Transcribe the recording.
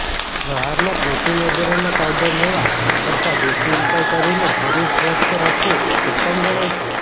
બહારના પ્રોટીન વગેરેના પાઉડર લેવા કરતા દેશી ઉપાય કરીને શરીર સ્વસ્થ રાખવું ઉત્તમ ગણાય છે